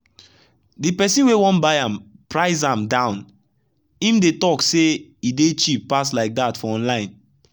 the person wey wan buy am price am down him dey talk say e dey cheap pass like that for online